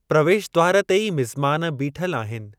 प्रवेश द्वार ते ई ‍मिज़मान बीठल आहिनि।